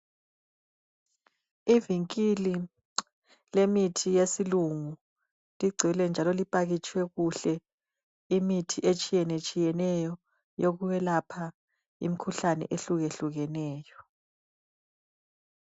Ivinkili lemithi yesilungu, ligcwele njalo lipakitshwe kuhle imithi etshiyenetshiyeneyo eyokwelapha imkhuhlane ehlukehlukeneyo.